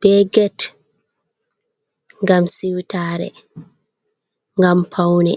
be gate, gam siwtare gam paune.